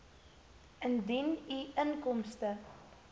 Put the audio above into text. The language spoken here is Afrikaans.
indien u inkomste